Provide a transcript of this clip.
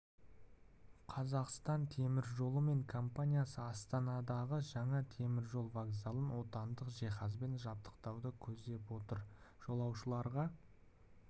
қазақстан темір жолы мен компаниясы астанадағы жаңа темір жол вокзалын отандық жиһазбен жабдықтауды көздеп отыр жолаушыларға